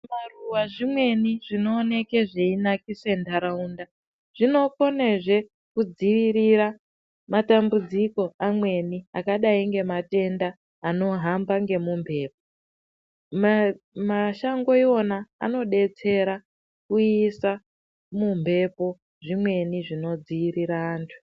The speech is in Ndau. Maruva zvimweni zvinooneke zveinakise mharaunda. Zvinokonezve kudzirira matambudziko amweni akadai ngematenda anohamba ngemumhepo. Mashango ivona anobetsera kuisa mumhepo zvimweni zvinodzirira antu.